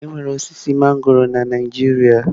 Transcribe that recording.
Enwere osisi mangọrọ na Naijiria.